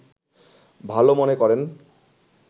ভালো মনে করেন